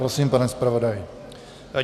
Prosím, pane zpravodaji.